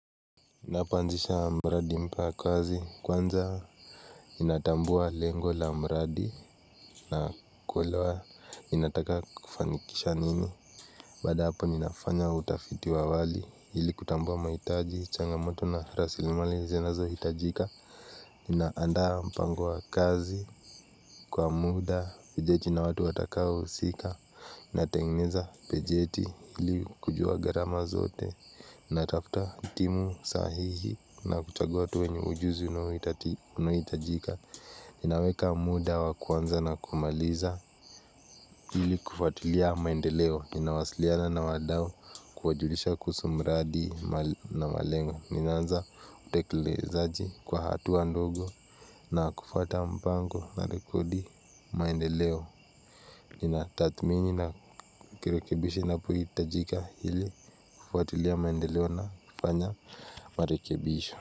Napanzisha mbradi mpa kazi kwanza. Inatambua lengo la mradi na kulewa Inataka kufanikisha nini Bada hapa ninafanya utafiti wawali Hili kutambua maitaji Changamoto na rasilimali zinazo hitajika. Ninaandaa mpango wa kazi Kwa muda Pejeti na watu watakao husika. Na tengeneza pejeti Hili kujua garama zote. Na tafuta timu sahihi na kuchagua tuwenye ujuzi unaohitajika. Ninaweka muda wa kwanza na kumaliza. Hili kufatulia maendeleo ninawasiliana na wadao. Kuwajulisha kuhusumradi na malengo ninaanza utekilezaji kwa hatu andogo. Na kufata mpango na rekodi maendeleo. Nina tatmini na kirekebishi na pui itajika hili kufatulia maendeleo na kufanya marekibisho.